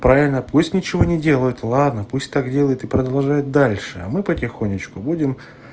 правильно пусть ничего не делают ладно пусть так делает и продолжает дальше а мы потихонечку будем